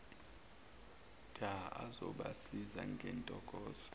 dha azobasiza ngentokozo